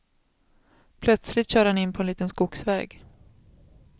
Plötsligt kör han in på en liten skogsväg.